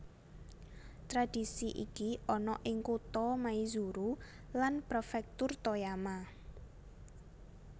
Tradhisi iki ana ing kutha Maizuru lan prefektur Toyama